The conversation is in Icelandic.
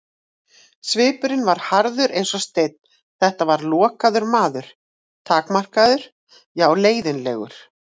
Svipurinn var harður eins og steinn, þetta var lokaður maður, takmarkaður, já leiðinlegur.